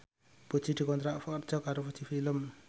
Puji dikontrak kerja karo Fuji Film